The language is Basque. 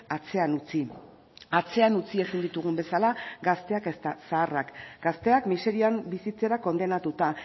atzean utzi atzean utzi ezin ditugun bezala gazteak eta zaharrak gazteak miserian bizitzera kondenatuta